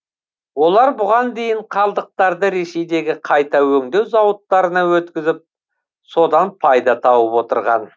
олар бұған дейін қалдықтарды ресейдегі қайта өңдеу зауыттарына өткізіп содан пайда тауып отырған